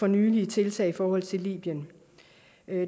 nylige tiltag i forhold til libyen